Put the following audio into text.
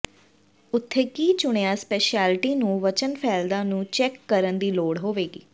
ਉੱਥੇ ਕੀ ਚੁਣਿਆ ਸਪੈਸ਼ਲਿਟੀ ਨੂੰ ਵਚਨ ਫੈਲਦਾ ਨੂੰ ਚੈੱਕ ਕਰਨ ਦੀ ਲੋੜ ਹੋਵੇਗੀ